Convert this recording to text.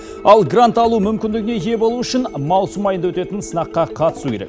ал грант алу мүмкіндігіне ие болу үшін маусым айында өтетін сынаққа қатысу керек